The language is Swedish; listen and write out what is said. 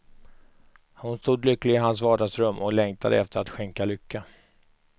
Hon stod lycklig i hans vardagsrum, och längtade efter att skänka lycka.